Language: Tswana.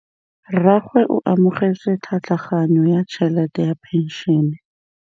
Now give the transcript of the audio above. Rragwe o amogetse tlhatlhaganyô ya tšhelête ya phenšene.